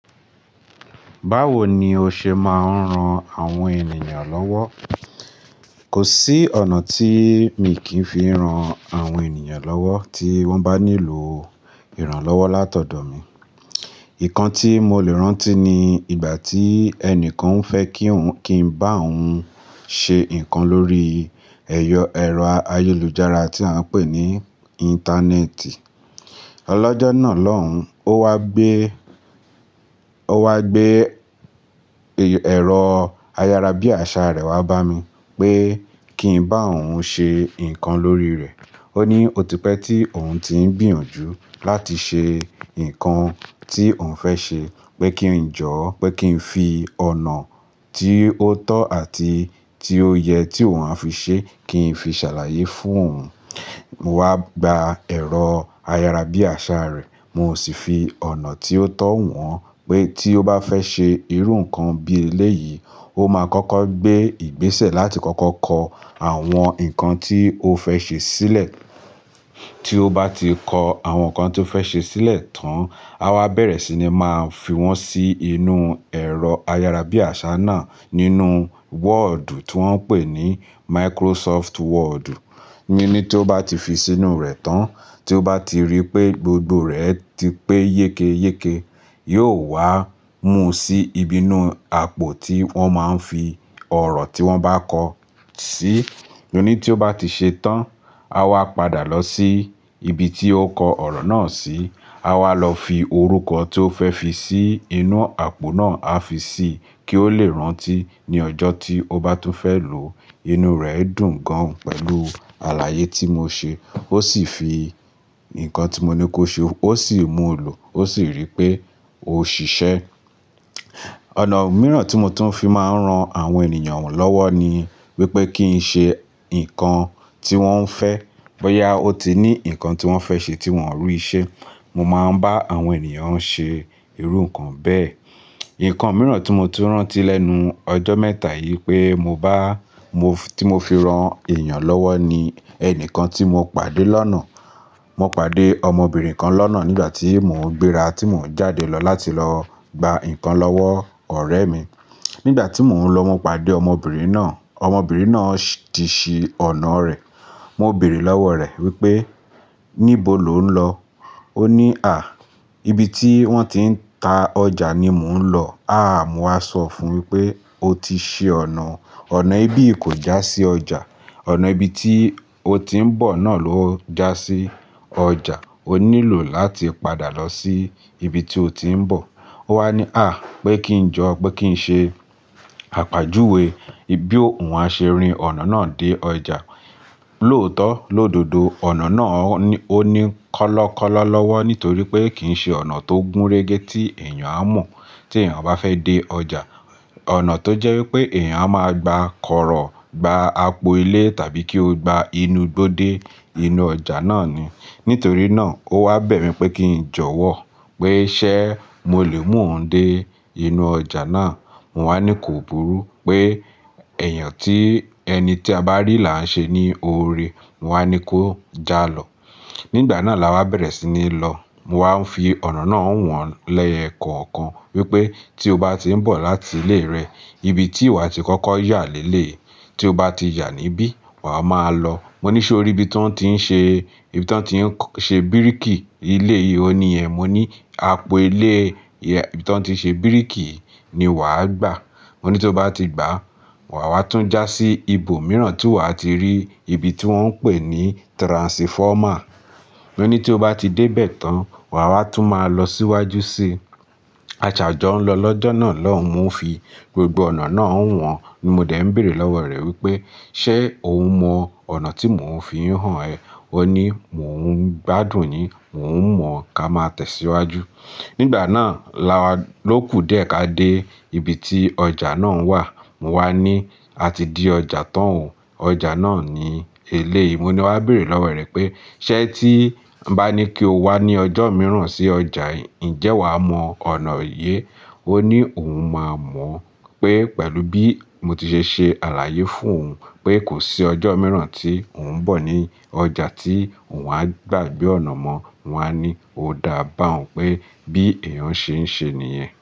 Báwo ni o ṣe máa ń ran àwọn ènìyàn lọ́wọ́? Kò sí ọ̀nà tí mi kì fi ran àwọn ènìyàn lọ́wọ́ tí wọ́n bá nílò ìrànlọ́wọ́ látọ̀dọ̀ mi. Nǹkan tí mo le rántí ni ìgbà tí ẹnìkan fẹ́ kí n bá òun ṣe nǹkan lórí ẹ̀rọ ayélujára tí a ń pè ní Íńtánẹ́ẹ̀tì. Lọ́jọ́ náà lọ́hùn, ó wá gbé, ó wà gbé ẹ̀rọ ayára bí àṣá rẹ̀ wá bá mi pé kí n bá òun ṣe nǹkan lórí rẹ̀. Ó ní o ti pẹ́ tí òun ti ń gbìyànjú láti ṣe nǹkan tí òun fẹ́ ṣe, pé kí n jọ́wọ́, pé kí n fi ọ̀nà tí ó tọ́ àti tí ó yẹ tí òun á fi ṣe kí n fi ṣàlàyé fún òun. Mo wá gba ẹ̀rọ ayára bí àṣá rẹ̀, mo sì fi ọ̀nà tí ó tọ́ hàn pé tí ó bá fẹ́ ṣe irú nǹkan bí eléyìí, ó máa kọ́kọ́ gbé ìgbésẹ̀ láti kọ́kọ́ kọ àwọn nǹkan tí o fẹ́ ṣe sílẹ̀. Tí ó bá ti kọ àwọn nǹkan tí ó fẹ́ ṣe sílẹ̀ tán, a wá bẹ̀rẹ̀ sí ní máa fi wọ́n sí inú ẹ̀rọ ayára bí àṣá náà nínú wọ́ọ̀dù tí wọ́n ń pè ní Máíkírọ́sọ́ọ̀fù wọ́ọ̀dù. Mo ní tí ó bá ti fi sí inú rẹ̀ tán, tí ó bá ti rí pé gbogbo rẹ̀ ti pé yékéyéke, yóò wá mú sí ibi inú àpò tí wọ́n máa ń fi ọ̀rọ̀ tí wọ́n bá kọ sí. Mo ni tí ó bá ti ṣe tán, a wá padà lọ sí ibi tí ó kọ ọ̀rọ̀ náà sí. A wá lọ fi orúkọ tí ó fẹ́ fi sí inú àpò náà, a fi sí kí ó le rántí ní ọjọ́ tí ó bá tún fẹ́ lò ó. Inú rẹ̀ dùn gan pẹ̀lú àlàyé tí mo ṣe. Ó sì fi nǹkan tí mo ní kó ṣe, ó sì mú lò, ó sì rí i pé ó ṣiṣẹ́. Ọ̀nà mìíràn tí mo tún fi máa ń ran àwọn ènìyàn lọ́wọ́ ni wípé kí n ṣe nǹkan tí wọ́n fẹ́. Bóyá ó ti ní nǹkan tí wọ́n fẹ́ ṣe tí wọ́n ò rí ṣẹ, mo máa ń bá àwọn ènìyàn ṣe irú nǹkan bẹ́ẹ̀. Nǹkan mìíràn tí mo tún rántí lẹ́nu ọjọ́ mẹ́ta yìí pé mo bá, tí mo fi ran èèyàn lọ́wọ́ ni ẹnìkan tí mo pàdé lọ́nà. Mo pàdé ọmọbìnrin kan lọ́nà nígbà tí mò ń gbéra tí mò ń jáde lọ láti lọ gba nǹkan lọ́wọ́ ọ̀rẹ́ mi. Nígbà tí mò ń lọ, mo pàdé ọmọbìnrin náà. Ọmọbìnrin náà ti ṣí ọ̀nà rẹ̀. Mo béèrè lọ́wọ́ rẹ̀ wípé níbo lọ ń lọ? Ó ní, "À, ibi tí wọ́n ti ń ta ọjà ni mò ń lọ." Àá, mo wá sọ fún wípé o ti ṣi ọ̀nà. Ọ̀nà ìbí i ko já sí ọjà. Ọ̀nà ibi tí o ti ń bọ̀ náà ló jásí ọjà. O nílò láti padà lọ sí ibi tí o ti ń bọ̀. Ó wá ní, "À," pé kí n jọ́, pé kí n ṣe àpèjúwe bí òun á ṣe rìn ọ̀nà náà dé ọjà. Lóòtọ́, lódodo ọ̀nà náà ó ní kọ́lọ́kọ́lọ́ lọ́wọ́ nítorí pé kì í ṣe ọ̀nà tó gúnrégé tí èèyàn á mọ̀ tí èèyàn bá fẹ́ dé ọjà. Ọ̀nà tó jẹ́ wípé èèyàn á máa gba kọ̀rọ̀, gba àgbò ilé tàbí kí ó gba inú gbọ́ dé inú ọjà náà ni. Nítorí náà ó wá bẹ̀ mí pé kí n jọ̀wọ́ pé ṣé mo lè mú òun dé inú ọjà náà. Mo wá ní ko burú, pé ẹ̀yàn tí, ẹni tí a bá rí là ń ṣe ní òòrè. Mo wá ní kó jálọ. Nígbà náà la wá bẹ̀rẹ̀ sí ní lọ. Mo wá ń fi ọ̀nà náà wọ́n lẹ́ẹ̀kọ̀ọ̀kan wípé tí o bá ti ń bọ̀ láti ilé rẹ, ibi tí wa ti kọ́kọ́ yà léle, tí o bá ti yà níbí, wa máa lọ. Mo ní ṣé o rí ibi tí wọ́n ti ń ṣe, ibi tí wọ́n ti ń ṣe bíríkì ilé yìí? Ó ní ẹn. Mo ní àpò ilé tí wọ́n ti ṣe bíríkì ni wà á gbà. Mo ní tí ó bá ti gbà, wà wà tún já sí ibo mìíràn tí wà á ti rí ibi tí wọ́n ń pè ní tiransifọ́mà. Mo ní tí ó bá ti dé bẹ̀ tán, wà wá tún máa lọ síwájú sí. A ṣàjọ́ ń lọ lọ́jọ́ náà lọ́hùn. Mo fi gbogbo ọ̀nà náà hàn. Ni mo dẹ̀ ń béèrè lọ́wọ́ rẹ̀ wípé ṣé òun mọ ọ̀nà tí mò ń fi hàn ẹ? Ó ní mò ń gbádùn yin, mò ń mọ̀, ká máa tẹ̀síwájú. Nígbà náà la wá lóku dẹ̀ ka dé ibi tí ọjà náà wà. Mo wá ní a ti de ọjà tán o. Ọjà náà ni eléyìí. Mo ni wá béèrè lọ́wọ́ rẹ̀ pé ṣé tí bá ní kí o wá ní ọjọ́ mìíràn sí ọjà yìí, ǹjẹ́ wà á mọ ọ̀nà yìí? Ó ní òun máa mọ̀ pé pẹ̀lú bí mo ti ṣe ṣe àlàyé fún òun pé kò sí ọjọ́ mìíràn tí òun bọ̀ ní ọjà tí òun á gbàgbé ọ̀nà mọ́. Mo wá ní ó dá bá òun pé bí èèyàn ṣe ń ṣe nìyẹn.